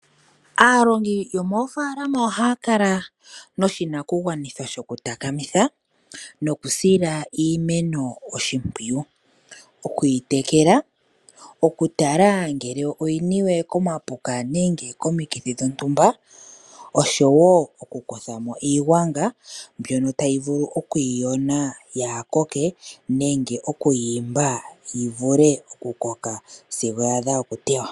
Aalongi yomoofaalama ohaya kala noshinakugwanithwa shokutakamitha nokusila iimeno oshimpwiyu, okuyitekela, okutala ngele oyi niwe komapuka nenge komikithi dhontumba osho wo okukutha mo iigwanga mbyono tayi vulu oku yi yona ka yi koke nenge oku yi imba yi vule okukoka sigo ya adha okutewa.